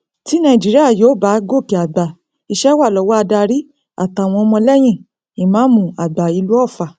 tí nàìjíríà yóò bá gòkè àgbà iṣẹ wa lọwọ adarí àtàwọn ọmọlẹyìn ìmáàmù àgbà ìlú ọfà